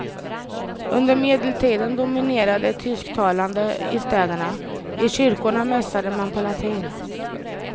Under medeltiden dominerade tysktalande i städerna, i kyrkorna mässade man på latin.